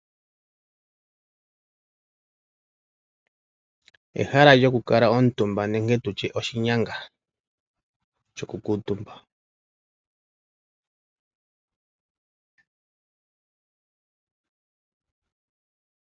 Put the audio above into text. Ehala lyokukala omutumba nenge tutye oshinyanga shoku kuutumba.